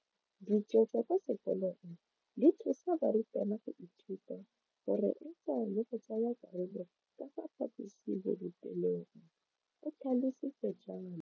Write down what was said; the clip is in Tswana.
Dijo tsa kwa sekolong dithusa barutwana go ithuta, go reetsa le go tsaya karolo ka fa phaposiborutelong, o tlhalositse jalo.